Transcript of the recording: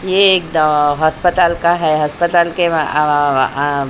ये एक अस्पताल का है हस्पताल के --